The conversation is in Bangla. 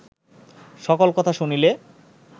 সকল কথা শুনিলে